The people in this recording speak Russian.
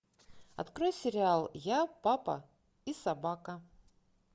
открой сериал я папа и собака